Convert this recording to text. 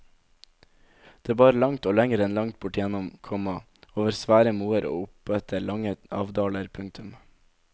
Det bar langt og lenger enn langt bortigjennom, komma over svære moer og oppetter trange avdaler. punktum